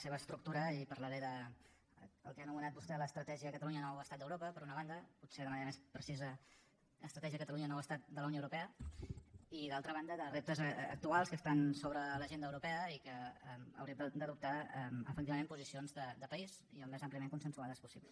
seva estructura i parlaré del que ha anomenat vostè l’estratègia catalunya nou estat d’europa per una banda potser de manera més precisa estratègia catalunya nou estat de la unió europea i d’altra banda de reptes actuals que estan sobre l’agenda europea i en què haurem d’adoptar efectivament posicions de país i al més àmpliament consensuades possible